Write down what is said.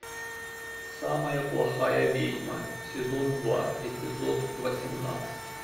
самая плохая ведьма сезон два эпизод восемнадцать